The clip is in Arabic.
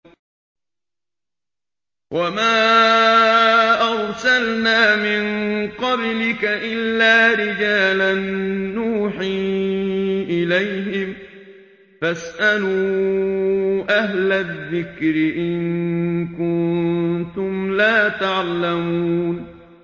وَمَا أَرْسَلْنَا مِن قَبْلِكَ إِلَّا رِجَالًا نُّوحِي إِلَيْهِمْ ۚ فَاسْأَلُوا أَهْلَ الذِّكْرِ إِن كُنتُمْ لَا تَعْلَمُونَ